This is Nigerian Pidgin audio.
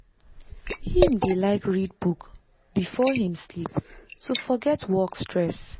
him dey like read book before before him sleep to forget work stress.